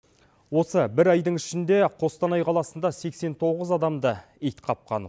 осы бір айдың ішінде қостанай қаласында сексен тоғыз адамды ит қапқан